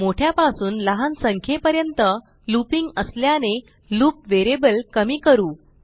मोठ्यापासून लहान संख्येपर्यंतlooping असल्याने लूप व्हेरिएबल कमी करू